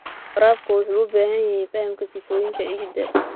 Waraabka wuxuu u baahan yahay fahamka sifooyinka ciidda.